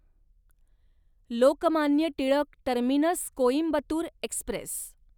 Lokmanya Tilak terminus Coimbatore Express